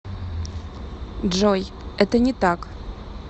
джой это не так